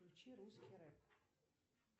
включи русский рэп